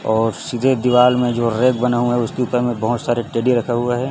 और सीधे दीवाल में जो रेघ बनें हुए है उसके ऊपर में बहोत सारे टेडी रखा हुआ है।